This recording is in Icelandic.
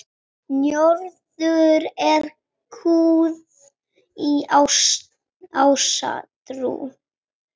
Njörður hét guð í ásatrú.